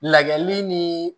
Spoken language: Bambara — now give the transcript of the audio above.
Layɛli ni